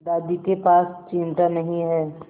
दादी के पास चिमटा नहीं है